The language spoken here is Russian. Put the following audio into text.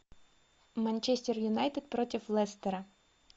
манчестер юнайтед против лестера